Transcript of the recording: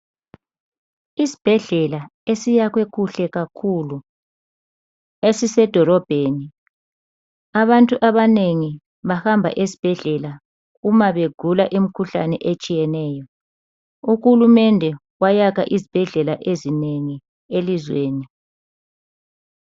Isibhedlela esiyakhwe kuhle kakhulu esise dolobheni, abantu abanengi bahamba esibhedlela uma begula imkhuhlane etshiyeneyo. Uhulumende wayakha izibhedlela ezinengi elizweni.